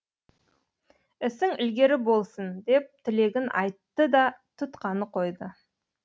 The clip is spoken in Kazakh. ісің ілгері болсын деп тілегін айттыда тұтқаны қойды